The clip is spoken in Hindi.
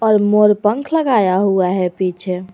और मोर पंख लगाया हुआ है पीछे।